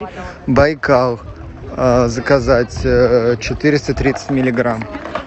байкал заказать четыреста тридцать миллиграмм